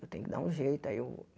Eu tenho que dar um jeito. Aí eu